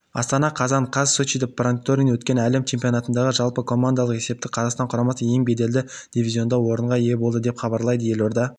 астана қазан қаз сочиде панкратионнан өткен әлем чемпионатындағы жалпыкомандалық есепте қазақстан құрамасы ең беделді дивизионында орынға ие болды деп хабарлайды елорда